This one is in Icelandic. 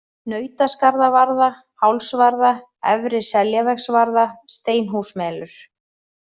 Nautaskarðavarða, Hálsvarða, Efri-Seljavegsvarða, Steinhúsmelur